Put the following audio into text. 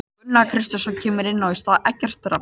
Gunnar Kristjánsson kemur inn í stað Eggerts Rafns.